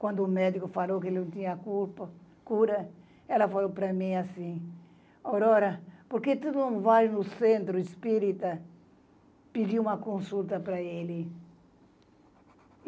Quando o médico falou que ele não tinha culpa, cura, ela falou para mim assim, Aurora, por que tu não vai no centro espírita pedir uma consulta para ele?